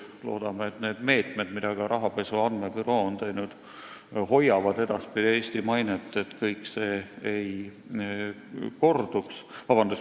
Loodame, et need meetmed, mida Finantsinspektsioon on võtnud, hoiavad edaspidi Eesti mainet, et kõik enam ei korduks.